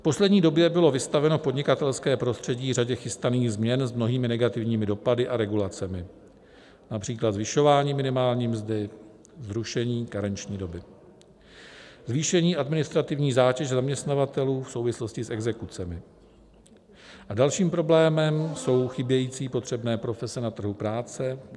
V poslední době bylo vystaveno podnikatelské prostředí řadě chystaných změn s mnohými negativními dopady a regulacemi, například zvyšování minimální mzdy, zrušení karenční doby, zvýšení administrativní zátěže zaměstnavatelů v souvislosti s exekucemi, a dalším problémem jsou chybějící potřebné profese na trhu práce.